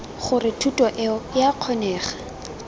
gore thuto eo ea kgonega